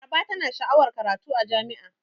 Laraba tana sha'awar karatu a jami'a.